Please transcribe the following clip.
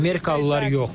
Amerikalılar yox.